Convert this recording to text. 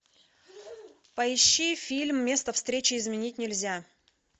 поищи фильм место встречи изменить нельзя